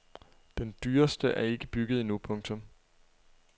Den dyreste er ikke bygget endnu. punktum